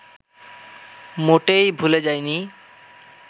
মোটেই ভুলে যায়নি